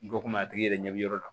Dɔ komi a tigi yɛrɛ ɲɛ bɛ yɔrɔ la